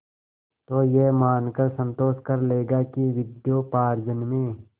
तो यह मानकर संतोष कर लेगा कि विद्योपार्जन में